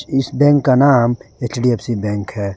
इस बैंक का नाम एच_डी_एफ_सी बैंक है।